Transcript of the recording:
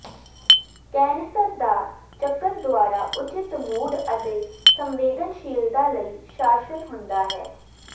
cancer ਦਾ ਚੱਕਰ ਦੁਆਰਾ ਉੱਚਿਤ ਮੂਡ ਅਤੇ ਸੰਵੇਦਨਸ਼ੀਲਤਾ ਲਈ ਸ਼ਾਸਨ ਹੁੰਦਾ ਹੈ